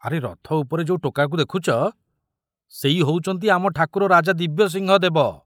ଆରେ ରଥ ଉପରେ ଯୋଉ ଟୋକାକୁ ଦେଖୁଚ, ସେଇ ହଉଛନ୍ତି ଆମ ଠାକୁର ରାଜା ଦିବ୍ୟସିଂହ ଦେବ।